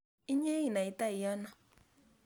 inye inaitai ano